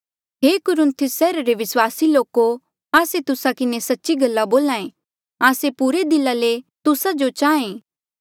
हे कुरिन्थुस सैहरा रे विस्वासी लोके आस्से तुस्सा किन्हें सच्ची गल्ला बोल्हे आस्से पुरे दिला ले तुस्सा जो चाहें ऐें